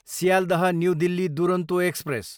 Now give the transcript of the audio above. Sealdah, new Delhi Duronto express